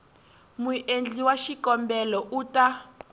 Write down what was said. muendli wa xikombelo u ta